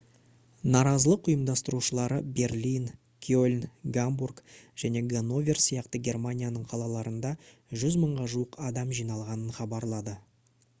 наразылық ұйымдастырушылары берлин кельн гамбург және ганновер сияқты германияның қалаларында 100 мыңға жуық адам жиналғанын хабарлады